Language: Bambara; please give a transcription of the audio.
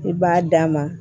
I b'a d'a ma